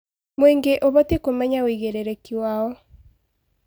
Mũingĩ ũbatiĩ kũmenya wĩigĩrĩrĩki wao.